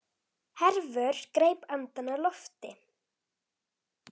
Hervör greip andann á lofti.